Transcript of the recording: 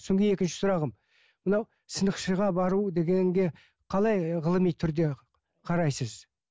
содан кейін екінші сұрағым мынау сынықшыға бару дегенге қалай ғылыми түрде қарайсыз